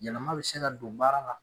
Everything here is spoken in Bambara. Yɛlɛma bɛ se ka don baara la.